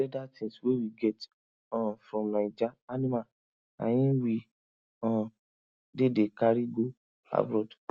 leather tings wey we get um from naija animal na hin we um dey dey carry go abroad